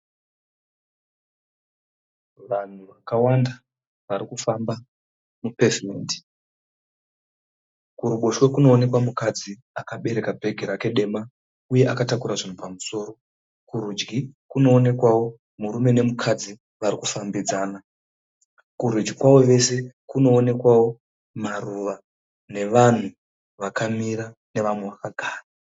Vanhu vakawanda varikufamba mupevhumendi. Kuruboshwe kunookwa mukadzi akabereka bhegi rake dema, uye akatakura zvinhu pamusoro. . Kurudyi kunoonekwawo murume nemukadzi varikufambidzana. Kurudyi kwavo vose kunoonekwawo maruva nevanhu vakamira nevamwe vakagara.